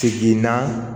Segin na